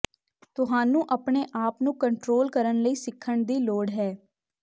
ਤੁਹਾਨੂੰ ਆਪਣੇ ਆਪ ਨੂੰ ਕੰਟਰੋਲ ਕਰਨ ਲਈ ਸਿੱਖਣ ਦੀ ਲੋੜ ਹੈ